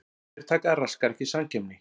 Yfirtaka raskar ekki samkeppni